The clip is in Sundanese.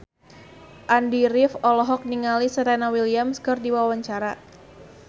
Andy rif olohok ningali Serena Williams keur diwawancara